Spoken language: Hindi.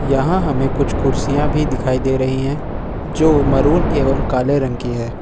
यहां हमें कुछ कुर्सियां भी दिखाई दे रही हैं जो मरून एवं काले रंग की है।